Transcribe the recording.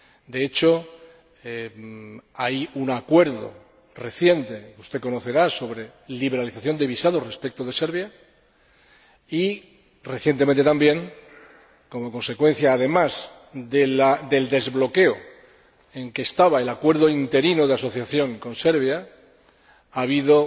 De hecho, hay un acuerdo reciente, que usted conocerá, sobre liberalización de visados respecto de Serbia y, recientemente también, como consecuencia además del desbloqueo del acuerdo interino de asociación con Serbia, ha habido